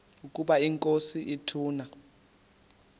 ukaba inkosi ituna